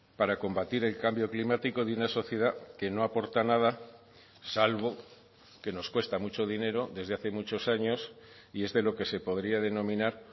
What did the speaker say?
para combatir el cambio climático de una sociedad que no aporta nada salvo que nos cuesta mucho dinero desde hace muchos años y es de lo que se podría denominar